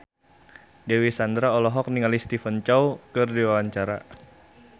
Dewi Sandra olohok ningali Stephen Chow keur diwawancara